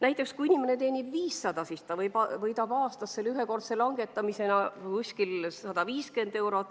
Näiteks kui inimene teenib palka 500 eurot kuus, siis ta võidab aastas ühekordse langetamise tulemusel umbes 150 eurot.